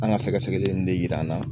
An ka sɛgɛsɛgɛli in de yira an na